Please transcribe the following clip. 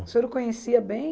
O senhor o conhecia bem?